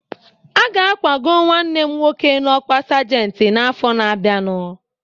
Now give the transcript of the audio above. Aga akwago nwanne m nwoke n'ọkwa sajenti n'afọ na-abịanụ